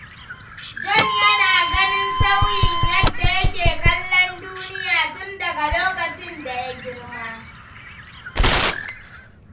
John yana ganin sauyin yadda yake kallon duniya tun daga lokacin da ya girma.